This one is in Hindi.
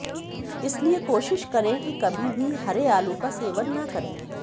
इसलिए कोशिश करें कि कभी भी हरे आलू का सेवन न करें